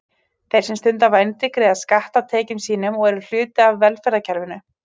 Þeir sem stunda vændi greiða skatta af tekjum sínum og eru hluti af velferðarkerfinu.